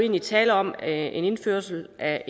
der tale om en indførelse af